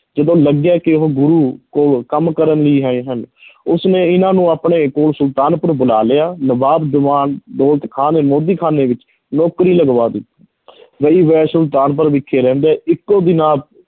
ਜਦੋਂ ਲੱਗਿਆ ਕਿ ਉਹ ਗੁਰੂ ਕੋਲ ਕੰਮ ਕਰਨ ਲਈ ਆਏ ਹਨ ਉਸਨੇ ਇਹਨਾਂ ਨੂੰ ਆਪਣੇ ਕੋਲ ਸੁਲਤਾਨਪੁਰ ਬੁਲਾ ਲਿਆ, ਨਵਾਬ ਦੀਵਾਨ ਦੌਲਤ ਖਾਂ ਦੇ ਮੋਦੀਖਾਨੇ ਵਿੱਚ ਨੌਕਰੀ ਲਗਵਾ ਦਿੱਤੀ ਸੁਲਤਾਨਪੁਰ ਵਿਖੇ ਰਹਿੰਦੇ ਇੱਕੋ ਦਿਨ ਆਪ